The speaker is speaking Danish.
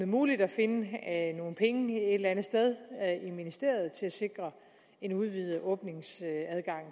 muligt at finde nogle penge et eller andet sted i ministeriet til at sikre en udvidet åbningstid